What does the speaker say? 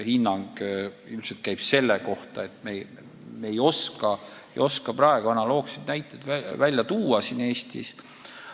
Ma ei oska praegu analoogseid näiteid tuua Eesti kohta.